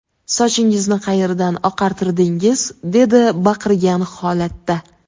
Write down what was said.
Sochingizni qayerdan oqartirdingiz?” dedi baqirgan holatda.